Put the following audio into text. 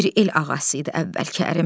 Bir el ağası idi əvvəlki ərim.